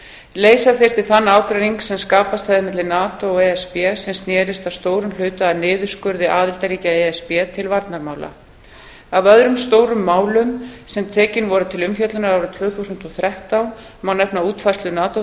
leysa þyrfti þann ágreining sem skapast hefði milli nato og e s b sem sneri að stórum hluta að niðurskurði aðildarríkja e s b til varnarmála af öðrum stórum málum sem tekin voru til umfjöllunar árið tvö þúsund og þrettán má nefna útfærslu nato